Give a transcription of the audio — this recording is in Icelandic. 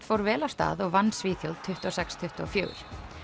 fór vel af stað og vann Svíþjóð tuttugu og sex til tuttugu og fjórum